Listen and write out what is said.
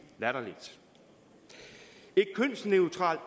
latterligt et kønsneutralt